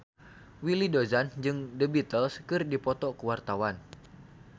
Willy Dozan jeung The Beatles keur dipoto ku wartawan